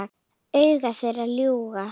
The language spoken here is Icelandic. Augu þeirra ljúga ekki.